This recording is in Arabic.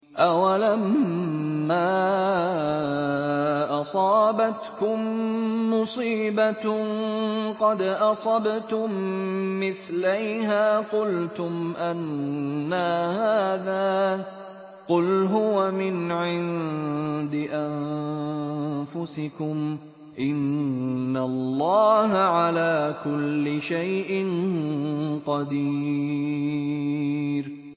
أَوَلَمَّا أَصَابَتْكُم مُّصِيبَةٌ قَدْ أَصَبْتُم مِّثْلَيْهَا قُلْتُمْ أَنَّىٰ هَٰذَا ۖ قُلْ هُوَ مِنْ عِندِ أَنفُسِكُمْ ۗ إِنَّ اللَّهَ عَلَىٰ كُلِّ شَيْءٍ قَدِيرٌ